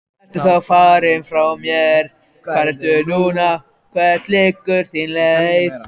Hagræðir röndóttri þverslaufu og klórar sér á hökunni.